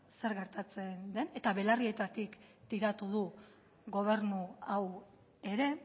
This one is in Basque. zer gertatzen den eta belarrietatik tiratu du gobernu hau ere